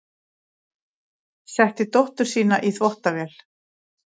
Setti dóttur sína í þvottavél